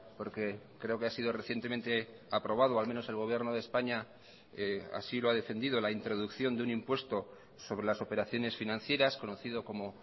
porque creo que ha sido recientemente aprobado al menos el gobierno de españa así lo ha defendido la introducción de un impuesto sobre las operaciones financieras conocido como